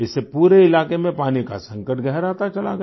इससे पूरे इलाके में पानी का संकट गहराता चला गया